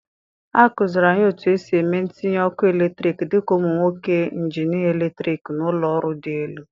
A kụziiri anyị otu esi eme ntinye ọkụ eletrik dị ka ụmụ akwụkwọ injinịa eletrik na ụlọ ọrụ dị elu.